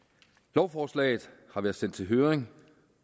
lovforslaget har været sendt i høring